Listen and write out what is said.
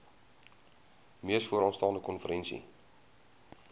mees vooraanstaande konferensie